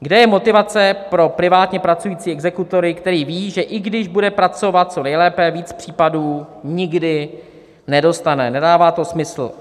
Kde je motivace pro privátně pracujícího exekutora, který ví, že i když bude pracovat co nejlépe, víc případů nikdy nedostane, nedává to smysl."